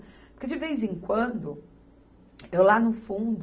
Porque, de vez em quando, eu lá no fundo,